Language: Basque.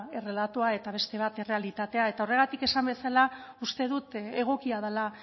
errelatoa eta beste bat errealitatea eta horregatik esan bezala uste dut egokia dela